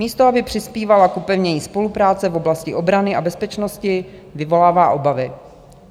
Místo aby přispívala k upevnění spolupráce v oblasti obrany a bezpečnosti, vyvolává obavy.